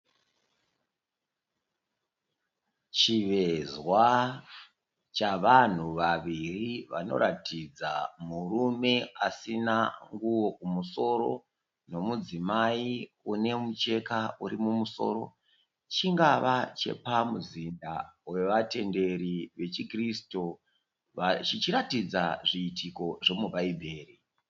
Chivezwa chavanhu vaviri vanoratidza murume asina nguwo kumusoro nemudzimai unemucheka uri mumusoro, chingava chepamuzinda wevatenderi wechi kurisitu chichiratidza zviitiko zvemubhaibheri.